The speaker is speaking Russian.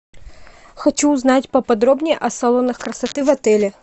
хочу узнать по подробнее о салонах красоты в отеле